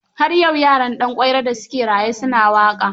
Har yau yaran Danƙwairo da su ke raye su na waƙa.